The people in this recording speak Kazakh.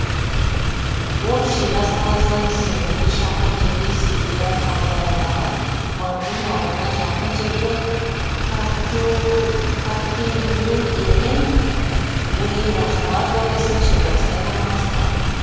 ол шираз қаласынан жүз жиырма бес шақырым жерде сепидан ауданындағы маргун ауылына жақын жерде каһкилуйе мен буирахмад облысының шекарасында орналасқан